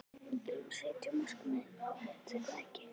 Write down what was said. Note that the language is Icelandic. Við þurfum að setja markmiðin hátt er það ekki?